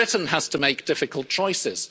Britain has to make difficult